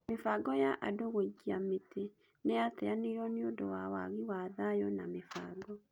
mĩbango ya andũgũikia mĩtĩ nĩyateanĩirio nĩũndũwa wagi wa thayũna mĩbango.